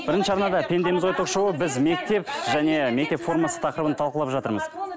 бірінші арнада пендеміз ғой ток шоуы біз мектеп және мектеп формасы тақырыбын талқылап жатырмыз